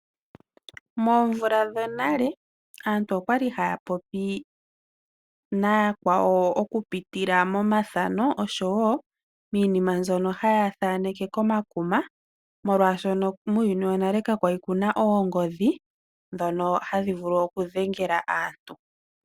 Moomvula dhonale aantu okwali haya popi nayakwawo okupitila momathano oshowo miinima mbyono haya thaneke komakuma, molwaashoka muuyuni wonale ka kwali kuna oongodhi dhono hadhi vulu okudhengela aantu.